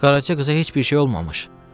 Qaraça qıza heç bir şey olmamış.